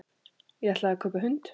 Ég ætlaði að kaupa hund.